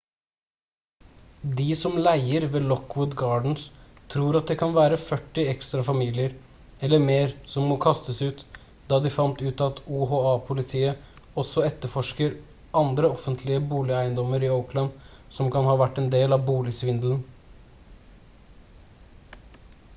de som leier ved lockwood gardens tror det kan være førti ekstra familier eller mer som må kastes ut da de fant ut at oha-politiet også etterforsker andre offentlige boligeiendommer i oakland som kan ha vært en del av boligsvindelen